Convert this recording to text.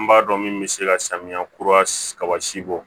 N b'a dɔn min bɛ se ka samiya kura kaba si bɔ